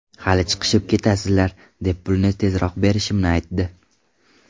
Hali chiqishib ketasizlar”, deb pulni tezroq berishimni aytdi.